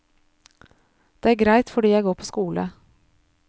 Det er greit fordi jeg går på skole.